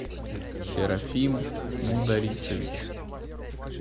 серафим мударисович